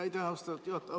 Aitäh, austatud juhataja!